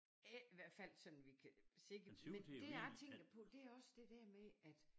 Ikke i hvert fald sådan vi kan se det men dét jeg tænker på det også det dér med at